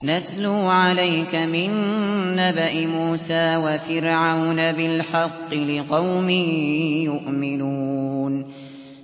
نَتْلُو عَلَيْكَ مِن نَّبَإِ مُوسَىٰ وَفِرْعَوْنَ بِالْحَقِّ لِقَوْمٍ يُؤْمِنُونَ